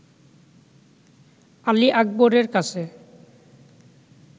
আলী আকবরের কাছে